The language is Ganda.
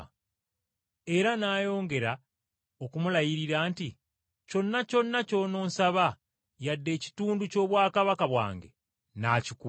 Era n’ayongera okumulayirira nti, “Kyonna kyonna ky’ononsaba yadde ekitundu ky’obwakabaka bwange nnaakikuwa!”